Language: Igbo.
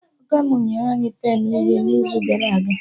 Ọga mụ nyere anyị penụ uhie n'izu gara aga